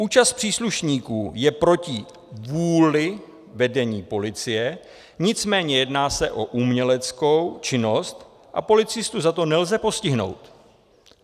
Účast příslušníků je proti vůli vedení policie, nicméně jedná se o uměleckou činnost a policistu za to nelze postihnout.